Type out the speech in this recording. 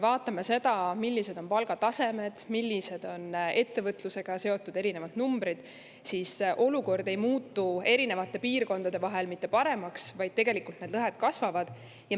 Vaatame seda, millised on palgatasemed, millised on ettevõtlusega seotud erinevad numbrid: olukord erinevates piirkondades ei muutu mitte, vaid need lõhed kasvavad.